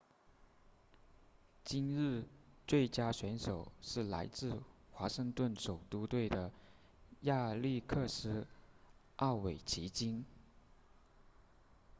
今日最佳选手是来自华盛顿首都队的亚历克斯奥韦奇金